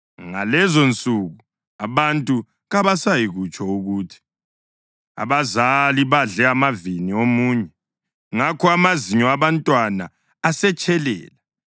“Ngalezonsuku abantu kabasayikutsho ukuthi, ‘Abazali badle amavini amunyu, ngakho amazinyo abantwana asetshelela.’